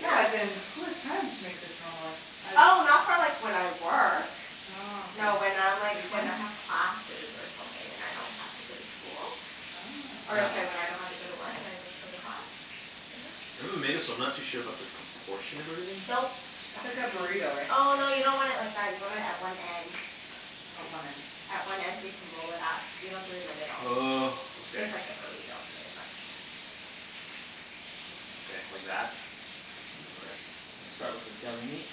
No, as in, who has time to make this normally. Oh, not for like when I work. Oh No when okay. I'm like when I have classes or something, and I don't have to go to school. Or it's Oh. like when I don't have to go to work and I just go to class. Maybe we made this but I'm not too sure about the proportion of everything. Don't It's stuff like too a much. burrito right? Oh no, you Just- don't want it like that. You want it at one end. Oh, one end. At one end so you can roll it up. You don't do it in the middle. Oh, okay. Just like a burrito, pretty much. Okay, like that? I'll start with the deli meat.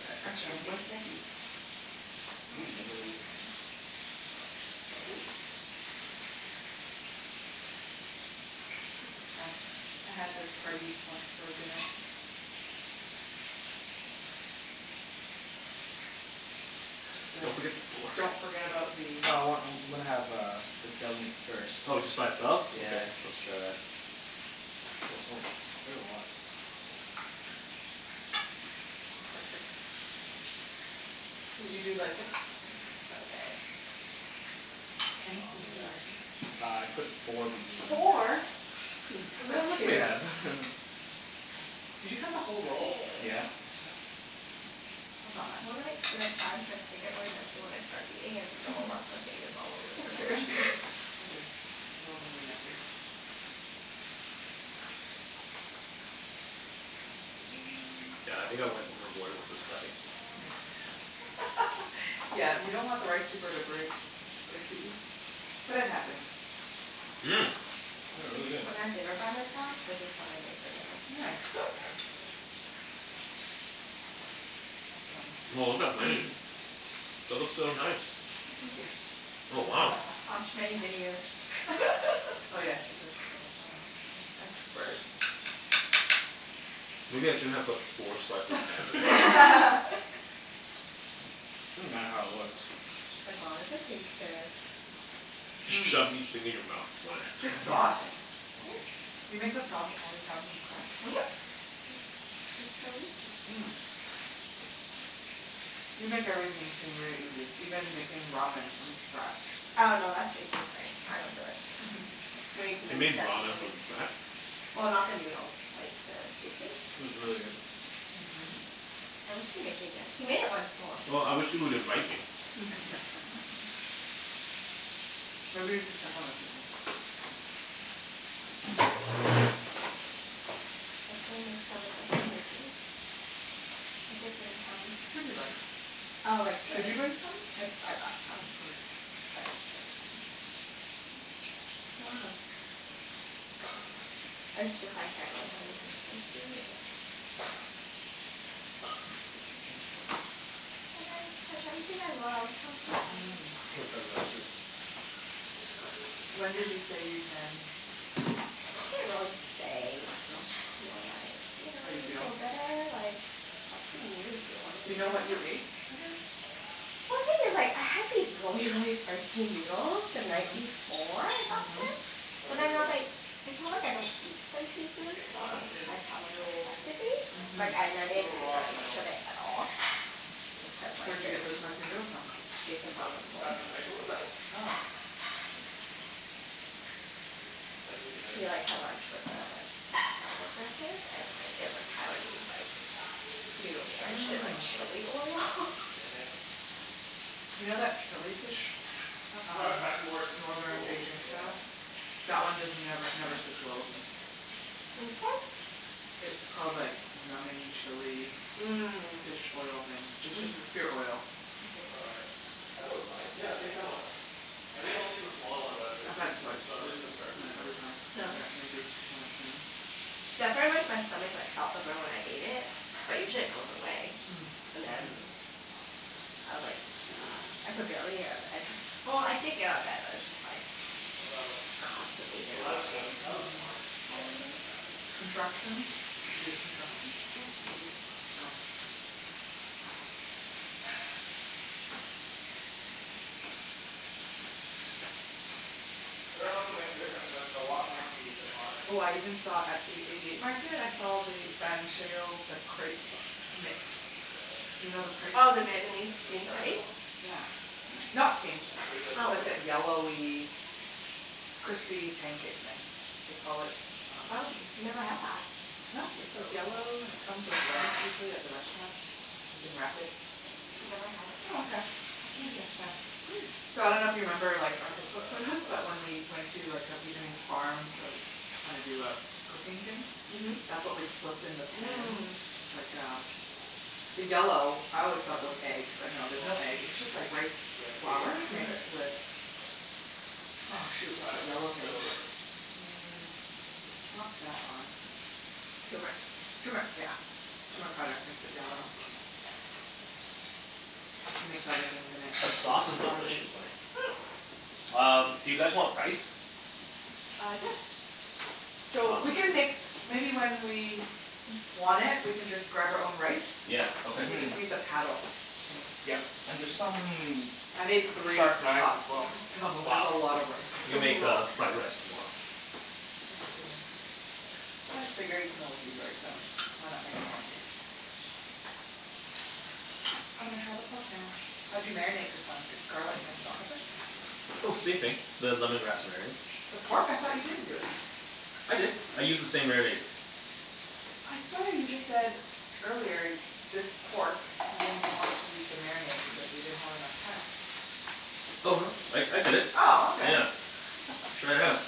E- I'm extra starting meat. with veggies. I want this meat. This is fun. I had this party once for dinner. Just uh Don't forget the pork. Don't forget about the. I want, I'm I'm gonna have uh this deli meat first. Oh just by itself? Okay, let's Yeah. try that. Oh it's quite a lot. Did you do it like this? This looks so good. Kenny, did you do it like this? Uh I put four pieces in Four?! Geez. Just Look put how much we two. have. Did you cut the whole roll? Yeah. Wow. That's not bad. You wanna make two at a time cuz I get really messy when I start eating and no one wants my fingers all over their food. It's all good. We're all gonna be messy. Yeah, I think I went overboard with the stuffing. Yeah you don't want the rice paper to break, that's the key, but it happens. Mmm. This is really good. When I have dinner by myself, this is what I make for dinner. Nice. Awesome. Wow, look at Wenny's. That looks so nice. Thank you. Oh wow. Watch many videos. Oh yeah, she does this all the time yeah, expert. Maybe I shouldn't have put four slices of ham in there. Doesn't matter how it looks. As long as it tastes good. Just shove each thing in your mouth, one at a Good time sauce. Do you make the Thanks. sauce all the time from scatch? Mhm. It's, it's so easy. Mm. You make everything seem very easy, even making ramen from scatch. Oh no, that's Jason's thing, I don't do it. It's way too He many made steps for ramen me. from scratch? Well, not the noodles, like the soup It base. was really good. Mhm. I wish he'd make it again. He made it once more. Well, I wish he would invite me. Maybe you should check on the chicken. Hopefully my stomach doesn't hate me. I did bring Tums. Pretty light. Oh like the Did you bring Tums? I, I brought Oh, Tums. good. Sorry Don't worry about it. I just, just, I can't have anything spicy or cit- citrusy. Like I, that's everything I love. I'm so Mhm sad. Which When did he say you can? He didn't really say No? It's just more like You know How you when you feel? feel better, like it's up to you if you wanna Do you eat know them or what you not. ate again? I think it's like, I had these really really spicy noodles the night before I got Mhm. sick. How's But your? then I was like, it's not like I don't eat spicy The foods thick so I one was is surprised how much it still affected me. Like Mhm. ne- a I didn't little eat raw in the very much middle. of it at all. Just cuz like Where'd you they get were the spicy expensive. noodles from? Jason Ken, brought them home. that's the knife drawer? Oh. I could use a knife. He like had lunch with uh, ex-coworker of his, and like it was like Taiwanese like noodles Yeah, it's quite drenched in raw like in the middle chilli still. oil. Damn it. You know that chilli fish Well, Ta- um, it's back to more Northern rolls. Beijing Yeah. style? That one just never never sits well with me. Which one? It's called like numbing chilli Mm. Fish oil thing. It's just pure oil. Looks all right That looks fine. Yeah, take that one out. I think I'll take the smaller ones out too. I had it twice, we can start and eating now. every time I got major stomach pain. Yeah, pretty much my stomach like felt the burn when I ate it, but usually it goes away. Mm. And then, Mhm. I was like, I could barely get up, well I did get up out of bed but it's just like How's that constantly look? Oh there that all looks good, day. that looks Mhm, fine. Yeah? Yeah. contractions? Did you get contractions? Mm- mm. I dunno if it'll make a difference but the wok might be a bit hotter. Oh I even saw at the eighty eight market, I saw the Ben Schill the crepe mix, you know the crepe Oh, the thing? Here Vietnamese let's steamed try this crepe? one. Yeah. Not steamed. Here, bring the It's plate Oh. like over. that yellowy crispy pancake thing, they call it um. Oh, never had that. No? It's like yellow, and it comes with lettuce usually at the restaurants. You can wrap it. I've never had it. Oh okay. I'll take you next time. So I dunno if you remember like our That looks all Facebook photos That looks right. but good. when we went to like a Vietnamese farm to like kinda do a f- cooking thing? Mhm. That's what we flipped in the pans. Mm. Like uh the yellow, This I one's always a thought it little was egg, but no there's raw. no egg, it's just like rice Yeah, the bigger piece flour right? mixed with, Yeah. oh shoot, what's that yellow thing. Mm, not saffron. Turmeric. Turmeric! Yeah. Turmeric powder makes it yellow. You mix other things in it, The sauce is water delicious, based. Wenny. Um, do you guys want rice? Uh, yes! So we can make maybe when we want it we can just grab our own rice. Yeah, okay. We just made the paddle, Kenny. Yeah. And there's some I made three sharp knives cups as well so there's a lot of rice. You can Oh make wow. uh, fried rice tomorrow. Yeah, we can make it. I just figured you can always use rice so, why not make more in case. I'm gonna try the pork now. How'd you marinate this one? Just garlic and salt n pepper? Oh same thing, the lemongrass marinade. The pork? I thought you didn't do it. I did, I used the same marinade. I swear you just said earlier, this pork you didn't want to use the marinade because we didn't have enough time. Oh no, I I did it. Oh okay. Yeah, try it out.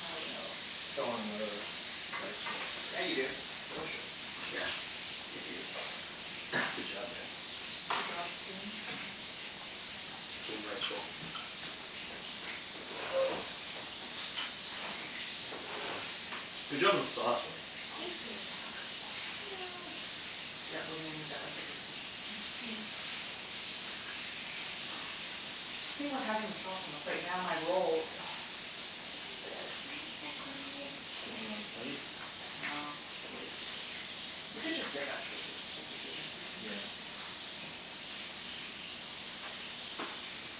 I will. I think want another rice roll Yeah, you do. It's delicious. Yeah, it is. Good job guys. Good job, team. Mhm. Team rice roll. Good job on the sauce, Oh Wenny. Thank you. it's stuck, no! Yeah, we're gonna need that recipe, too. The thing with having the sauce on the plate, now my roll ugh, it won't fit! Now it's all crinkled. Do you want another plate? No, it's a waste. We could just dip actually cuz it's just the two of us eating this thing. Yeah.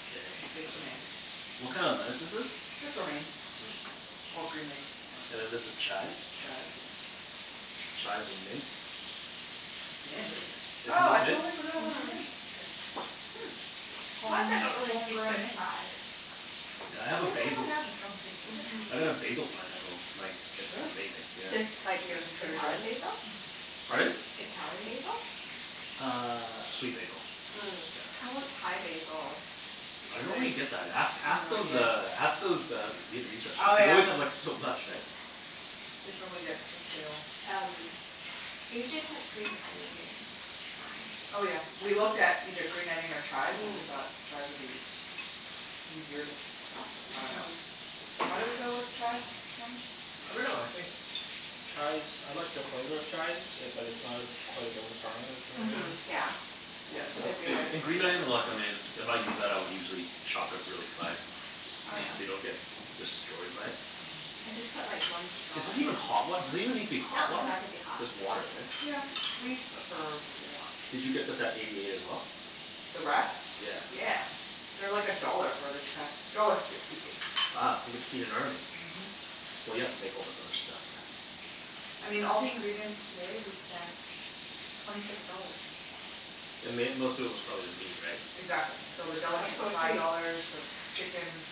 Okay. What kind of lettuce is this? Just romaine, or green leaf. And then this is chives? Chives, yeah. Chives with mint. Mint? Isn't Oh, I this mint? totally forgot about the mint, okay. Why is it Home, that I don't really taste home-grown the mint. chives? Yeah, I have a It doesn't basil really have a strong taste, does it? Mhm. I got a basil plant at home, like it's Really? amazing yeah. Just, like, Did you get it from Trader Joes? Italian basil? Pardon? Italian basil? Uh, sweet basil. Mm. I want Thai basil. I don't know where you get that. Ask, ask those uh, ask those uh, Vietnamese Oh restaurants. They yeah. always have like so much, right. They probably get wholesale. Um, I usually put green onion in mine. Oh yeah, we looked at either green onion or chives and we thought chives would be easier to stuff, I dunno. Mhm. Why did we go with chives, Kenny? I dunno, I think chives, I like the flavor of chives it, but it's not as quite as overpowering as green Mhm, onions. yeah. Cuz the green And green onion's onion I like em in, if I use that I'll usually chop it really fine, Oh so yeah? you don't get destroyed by it. I just put like one straw Is this in. even hot wat- does it even need to be No, hot it doesn't water? have to be hot. Just water right? Yeah, we prefer warm. Did you get this at Eighty eight as well? The wraps? Yeah. Yeah. They're like a dollar for this pack, dollar sixty eight. Wow. You can feed an army. Mhm. Well you have to make all this other stuff. I mean, all the ingredients today we spent twenty six dollars. The mai- most of it was probably the meat, right? Exactly. So the deli That's meat was so five cheap. dollars, the chickens,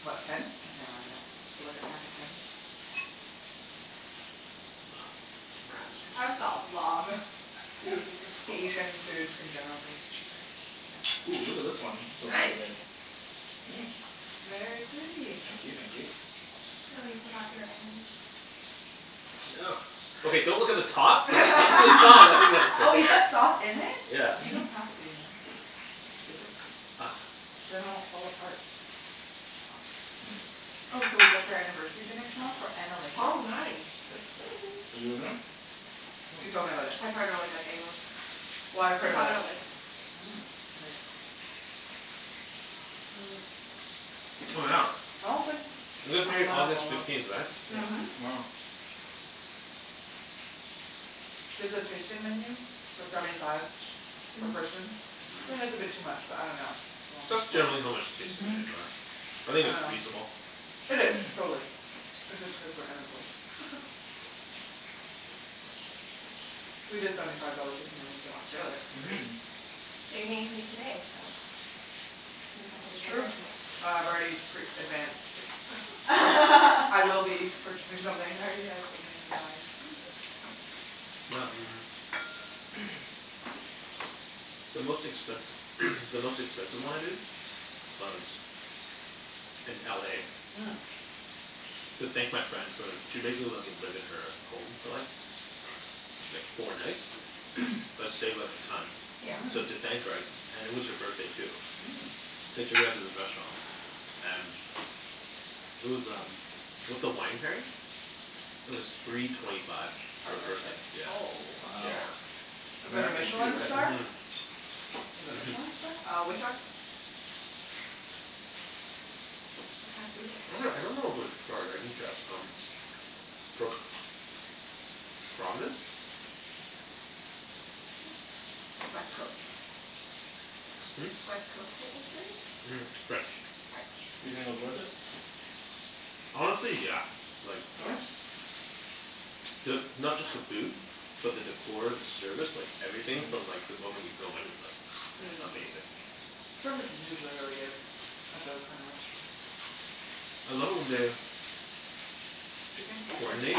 what, ten? I can't remember now, for like a pack of ten? That's a lot of I think food. Asian food in general is always cheaper, isn't Oh, look at this it. one, this looks pretty Nice! good. Mm. Very pretty. Thank you thank you. Oh, you forgot your ends. No. Okay, don't look at the top Oh, you put sauce in it? Yeah. You don't have to you know. Dip it. Then it won't fall apart. Oh so we booked our anniversary dinner tomorrow for Annalena. Oh nice! So You've excited! been there? She told me about it. I've heard really good things. Well, I've heard It's on about it our list. before, too. Mm, it's really good. Oh yeah, I don't think. you guys married August fifteenth, right? Yep. Mhm. Tomorrow. There's a tasting menu for seventy five per person, I think it's a bit too much but I dunno. That's generally how much tasting Mhm. menus are. I think it's I dunno. reasonable. It is, totally. It's just cuz we're unemployed. We did seventy five dollar tasting menus in Australia, it was great. Mhm. But you're getting paid today so, you can get yourself That's good true. dinner Uh, tomorrow. I've already pre-advanced. I will be purchasing something I already have something in mind. The most expensi- the most expensive one I did was in LA. Mm. To thank my friend for, she basically let me live in her home for like, like four nights, that saved like a ton. Yeah. So Mhm. thank her I, and it was her birthday too. Mm. I took her out to this restaurant and, it was um with the wine pairing, it was three twenty five Per per person. person. Oh Wow. Yeah. shit. Was it a Michelin star? Mhm. Was it Michelin star? Uh, which one? What kind of food would Actually, I dunno if it was they have? starred, I didn't check um, but Providence? Like West Coast? Hm? West Coast type of food? French. You French. think it was worth it? Honestly, yeah. Like Really? The, not just the food, but the decor, the service, like everything from like the moment you go in it's like Mm. Amazing. Service is usually really good. At those kinda restaurants. I love it when they Chicken? You want some? Coordinate,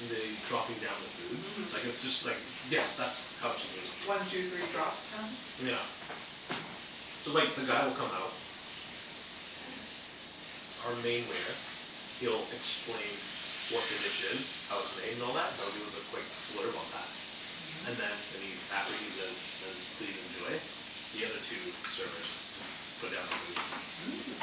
and they, dropping down the food. Mhm. Like it's just like yes, that's how it shupposed to be. One two three drop kinda thing? Yeah. So like the guy will come out, our main waiter, he'll explain what the dish is, how it's made and all that, he'll give us a quick blurb on that. Mhm. And then and he, after he says please enjoy, the other two servers just put down the food. Mm.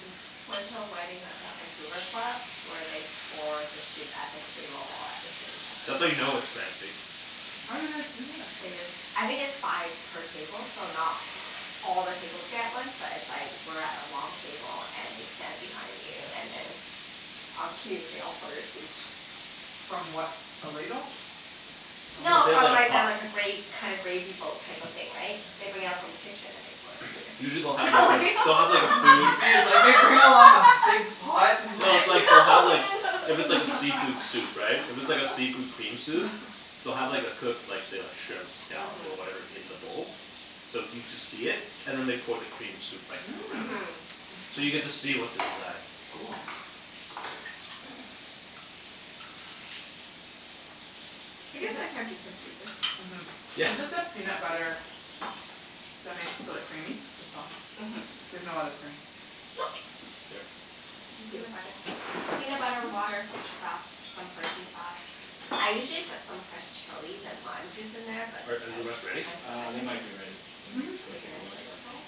Cool Went to a wedding at the Vancouver Club, where they pour the soup at the table all at the same time. That's how you know it's fancy. How do they do that? They just, I think it's by per table, so not all the tables get it at once but it's like we're at a long table and they stand behind you and then on cue they all pour your soup. From what, a ladle? No, No, they have from like a like the pot. like a gra- kind of gravy boat type of thing, right, they bring out from the kitchen and they pour into Usually your they'll have like a, they'll have like a I'm food confused like they bring out a lot of big pot, and No, it's like like, they'll have like, if No it's like a no seafood no soup, right, if it's like a seafood cream soup, they'll have like the cooked, say like, the shrimps, scallops or whatever in the bowl, so you just see it and then they pour the cream soup like around Mhm. it. Mmm! So you get to see what's inside. Cool. I guess Is it- that can be confusing. Mhm. Yeah. Is it the peanut butter that makes it so creamy? The sauce. Mhm. There's no other cream? Nope. Here. Just Thank you. peanut butter. Peanut butter, water, fish sauce, some hoisin sauce. I usually put some fresh chilies and lime juice in there but Are are the because rest ready? of my Uh, stomach they I might be ready. Maybe didn't. Mhm. go Make it take a as look. flavorful.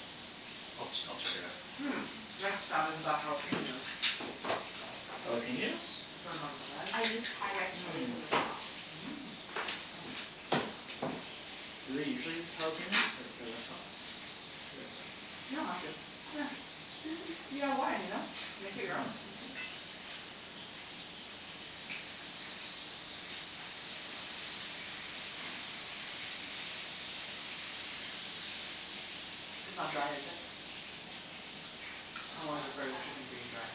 I'll ch- I'll just check it out. Mm. Next time we can buy jalapeños. Jalapeños? From outside. I used Thai red chilies Mm. in the sauce. Mm. Do they usually use jalapeños at, at restaurants? I guess so. You don't have to. Yeah, this is DIY, you know? Make it your own. Mhm. It's not dry, is it? I'm always afraid of chicken being dry.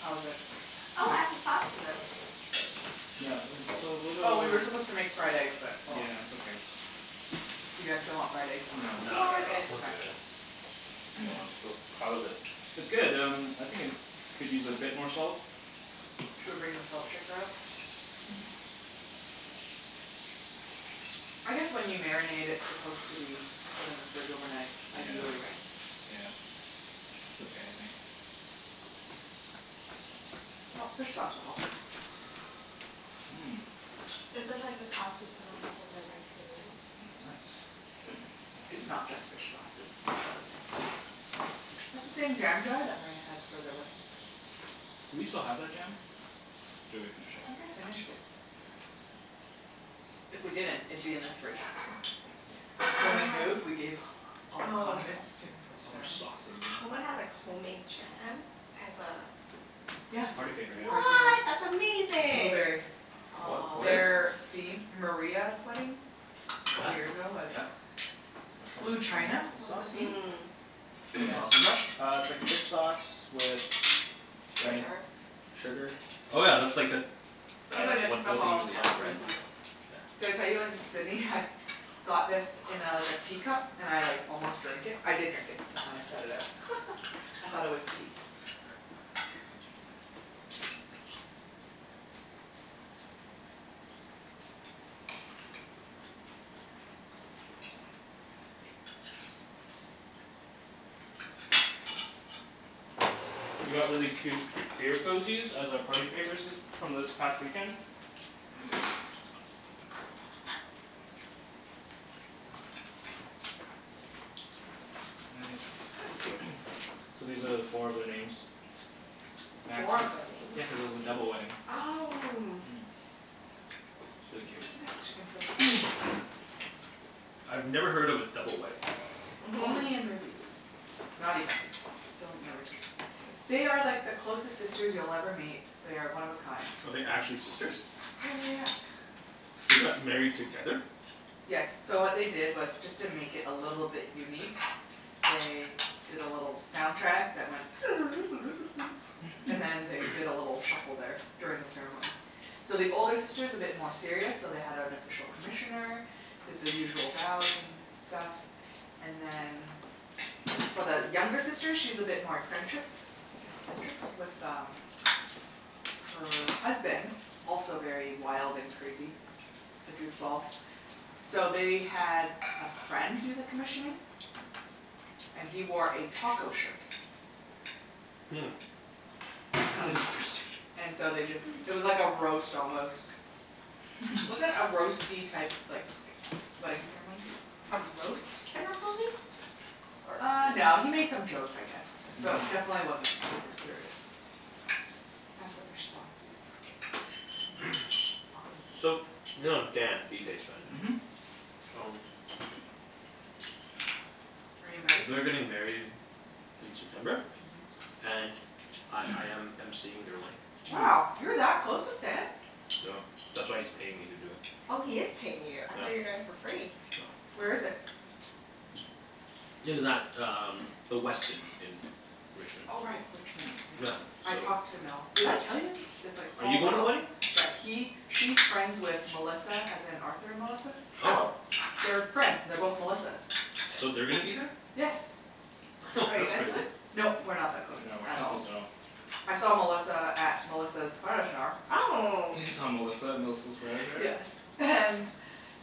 How is it? Oh, add the sauce in them. Yeah, it's a little Oh, we were supposed to make fried eggs but oh well. Yeah, it's okay. Do you guys still want fried eggs? No, not at all, we're good. Well, how is it? It's good um, I think it could use a bit more salt. Should we bring the salt shaker out? I guess when you marinate it's supposed to be put in the fridge overnight ideally, right? Yeah. It's okay, I think. Oh, fish sauce will help. Mm. This is like the sauce you put on top of the rice and noodles. Nice. Thank you. It's not just fish sauce it's got other things, too. That's the same jam jar that Maria had for their wedding. Do we still have that jam? Or did we finish I it. think I finished it. If we didn't, it'd be in this fridge. So when we moved, we gave all the condiments to his family. Someone had like homemade jam as a Yeah. Party favor, yeah. Party favor. What! That's amazing! Blueberry. What, what Aw. is? Their theme, Maria's wedding, couple years ago was Yep. Blue china, This was the sauce? theme What Yeah. sauce is that? Uh, it's like fish sauce with. Wenny? Sugar Sugar Oh yeah, that's like that the It's really the what what they typical usually have, sauce, mhm. right? Did I tell you in Sydney I had got this in a like a teacup, and I like almost drank it, I did drink it and then I spat it out. I thought it was tea. We got really cute beer cozies as a party favors this, from this past weekend Nice That's cute. So these are four of their names. Four of their names? Yeah, cuz it was a double wedding. Oh. Mm, it's really Can cute. you pass the chicken, Phil, please? I've never heard of a double wedding. Only in Mhm. movies. Not even, still never seen. They are like the closest sisters you'll ever meet. They're one of a kind. Oh they're actually sisters? Yeah yeah yeah. They got married together? Yes, so what they did was just to make it a little bit unique, they did a little soundtrack that went and then they did a little shuffle there during the ceremony. So the older sister is a bit more serious so they had an official commissioner, did the usual bows and stuff, and then for the younger sister she's a bit more eccentric, eccentric, with um, her husband, also very wild and crazy A goofball. So they had a friend do the commissioning, and he wore a taco shirt. Hmm. That Um is interesting. and so they just, it was like a roast almost. Was it a roasty type, like, wedding ceremony? A roast ceremony? Uh no, he made some jokes I guess, so definitely wasn't super serious. Can you pass the fish sauce please? I'll put it in So, the you middle. know Dan, BK's friend? Mhm. Um Are you invited? They're getting married in September, and I I am MCing their wedding. Wow, you're that close with Dan? No, that's why he's paying me to do it. Oh he is paying you, I thought you're doing it for free. Where is Nope. it? It is at um, the Westin in Richmond. Oh right, Richmond, Yeah yes. I so. talked to Mel, did I tell you? That it's like Are small you going to the world. wedding? Yeah he, she's friends with Melissa as in Arthur and Melissa. Oh! Oh! They're friends, they're both Melissas. So they're gonna be there? Yes. Are you That's guys going? crazy. Nope, we're not that close, No, we're at not all. close at all. I saw Melissa at Melissa's bridal shower. Oh! You saw Melissa at Melissa's bridal shower? Yes, and